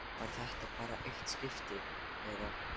Var þetta bara eitt skipti, eða.